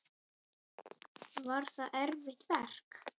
Var það erfitt verk?